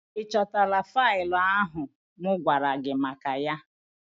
Ị chọtala faịlụ ahụ mụ gwara gị maka ya?